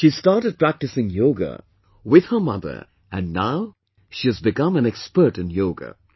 She started practicing yoga with her mother and now she has become an expert in yoga